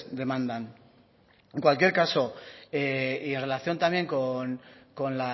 demandan en cualquier caso y en relación también con